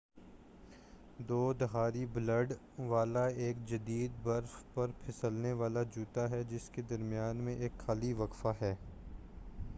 دو دھاری بلیڈ والا ایک جدید برف پر پہسلنے والا جوتا ہے جس کے درمیان میں ایک خالی وقفہ ہے